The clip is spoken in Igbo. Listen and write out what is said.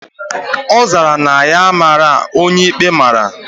Ozara na ya amara onye ikpe mara